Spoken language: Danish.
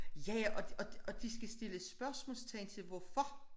Ja ja og og de skal stille spørgsmålstegn til hvorfor